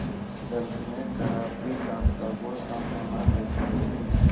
दर्द में कराहती कांता को सांत्वना देती रही